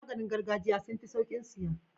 Maganin gargajiya sunfi saukin siya